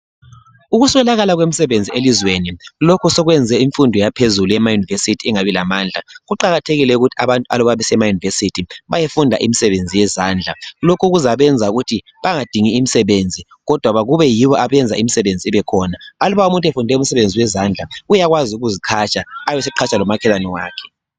Ukuswelakala komsebenzi elizweni lokhu sokwenze imfundo yaphezulu emaYunivesithi ingabi lamandla. Kuqakathekile ukuthi abantu aluba besemaYunivesithi beyefunda imisebenzi yezandla lokhu kuzabenza ukuthi bangadingi imsebenzi kodwa akube yibo abenza imisebenzi ibe khona. Aluba umuntu efunde umsebenzi yezandla uyakwazi ukuziqhatsha ebeseqhatsha lomakhelwane wakhe.